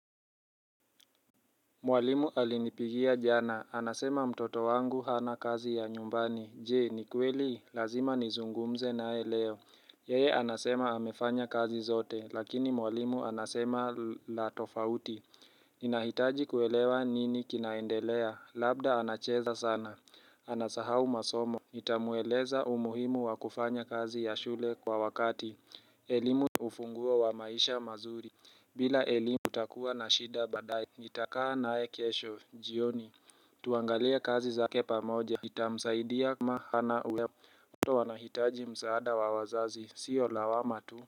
Mwalimu alinipigia jana, anasema mtoto wangu hana kazi ya nyumbani Je, ni kweli, lazima nizungumze nae leo Yeye anasema amefanya kazi zote, lakini mwalimu anasema la tofauti Ninahitaji kuelewa nini kinaendelea, labda anacheza sana, anasahau masomo Nitamueleza umuhimu wakufanya kazi ya shule kwa wakati elimu ufunguo wa maisha mazuri bila elimu utakuwa na shida badae nitakaa naye kesho jioni tuangalie kazi zake pamoja Nitamsaidia kama hana ulea mtoto wanahitaji msaada wa wazazi sio lawama tu.